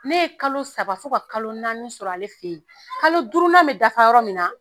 Ne ye kalo saba fo ka kalo naani sɔrɔ ale fɛ yen, kalo duurunan bɛ dafa yɔrɔ min na